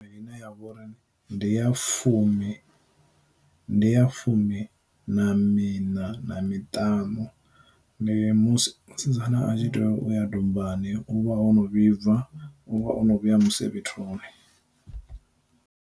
Ine ya vhori ndi ya fumi, ndi ya fumi na mina na miṱanu, ndi musi musidzana a tshi tea u ya dombani u vha o no vhibva u vha o no vhuya musevhethoni.